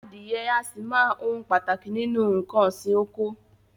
Adìẹ a sì máa ohun pàtàkì nínú nǹkan òsì oko.